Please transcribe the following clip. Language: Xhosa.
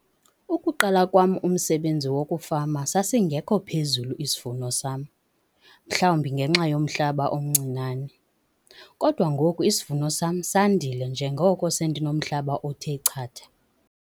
Ukuqala kwam umsebenzi wokufama sasingekho phezulu isivuno sam, mhlawumbi ngenxa yomhlaba omncinane. Kodwa ngoku isivuno sam sandile njengoko sendinomhlaba othe chatha.